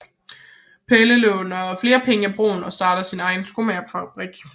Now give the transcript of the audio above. Pelle låner flere penge af Brun og starter også sin egen lille skomagerfabrik